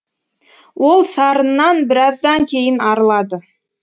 ол сарыннан біраздан кейін арылады